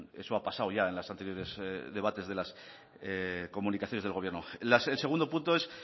eso ha pasado ya en las anteriores debates de las comunicaciones del gobierno el segundo punto es